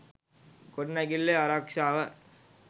ගොඩනැගිල්ලේ ආරක්‍ෂාව